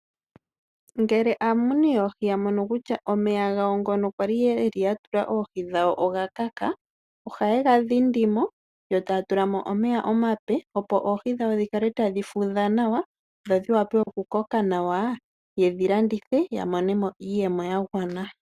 Ngele aamuni yoohi ya mono kutya omeya gawo nga kwali yatula oohi dhawo oga kaka. Ohaye ga dhindimo yo taatulamo omeya omape opo oohi dhikale tadhi fudha nawa dho dhi wape oku koka nawa ye dhi landithe ya monemo iiyemo ya gwana.